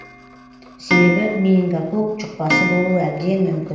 себебі менингококк жұқпасы болуы әбден мүмкін